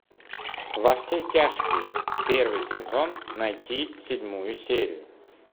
во все тяжкие первый сезон найти седьмую серию